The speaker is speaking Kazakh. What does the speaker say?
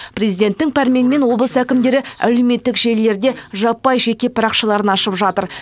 президенттің пәрменімен облыс әкімдері әлеуметтік желілерде жаппай жеке парақшаларын ашып жатыр